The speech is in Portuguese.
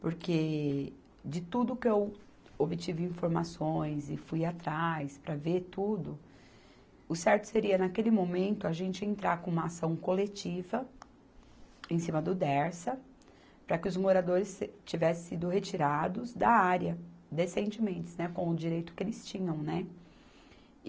Porque, de tudo que eu obtive informações e fui atrás para ver tudo, o certo seria, naquele momento, a gente entrar com uma ação coletiva em cima do Dersa, para que os moradores se tivessem sido retirados da área, decentementes, né, com o direito que eles tinham, né.